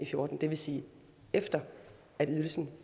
fjorten det vil sige efter at ydelsen